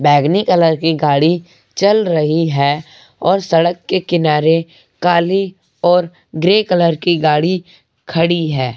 बैंगनी कलर की गाड़ी चल रही है और सड़क के किनारे काली और ग्रे कलर की गाड़ी खड़ी है।